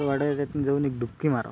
त्यातुन जाऊन एक डुपकी मारा.